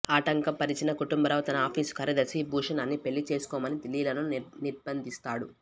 ఆటంకపరిచిన కుటుంబరావు తన ఆఫీసు కార్యదర్శి భూషణాన్ని పెళ్ళి చేసుకోమని లీలను నిర్భంధిస్తాడు